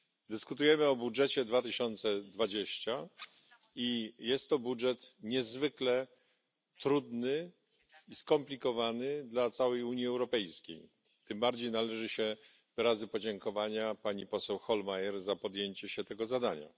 Dyskutujemy o budżecie 2020 i jest to budżet niezwykle trudny i skomplikowany dla całej Unii Europejskiej. Tym bardziej należą się wyrazy podziękowania pani poseł Hohlmeier za podjęcie się tego zadania.